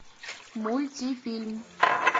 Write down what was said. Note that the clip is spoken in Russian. мультифильм